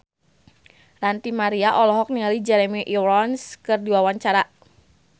Ranty Maria olohok ningali Jeremy Irons keur diwawancara